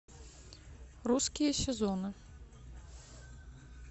русские сезоны